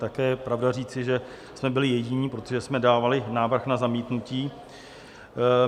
Také je pravda říci, že jsme byli jediní, protože jsme dávali návrh na zamítnutí.